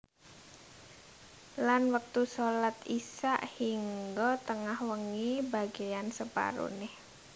Lan wektu shalat Isya hingga tengah wengi bagéyan separoné